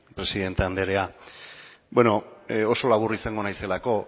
presidente anderea oso labur izango naizelako